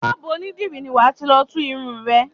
Ṣọ́bùù onídìrí ni wà ti lọ tú irun rẹ.